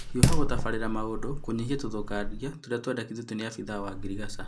Hiũha gũtabarĩla maũndũ kũnyihia ũthũkangia tũria kwendekithĩtio nĩ abithaa wa ngirigacha